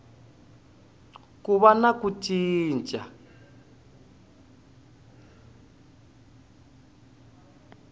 ku va na ku cinca